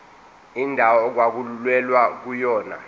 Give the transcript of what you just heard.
indawo okwakulwelwa kuyona